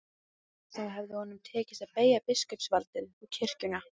Þá hefði honum tekist að beygja biskupsvaldið og kirkjuna.